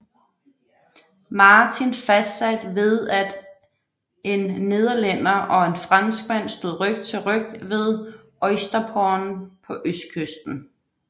Martin fastsat ved at en nederlænder og en franskmand stod ryg til ryg ved Oysterpond på østkysten